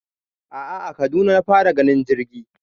a'a a Kaduna na fara ganin jirgi